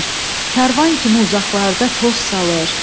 Karvan kimi uzaqlarda toz salır.